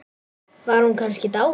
Var hún kannski dáin?